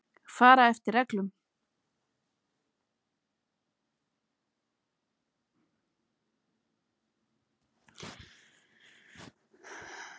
Fara eftir reglum.